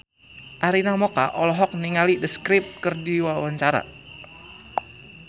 Arina Mocca olohok ningali The Script keur diwawancara